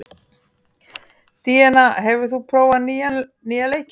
Díanna, hefur þú prófað nýja leikinn?